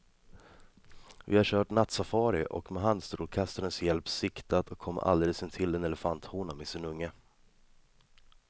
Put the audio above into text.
Vi har kört nattsafari och med handstrålkastarens hjälp siktat och kommit alldeles intill en elefanthona med sin unge.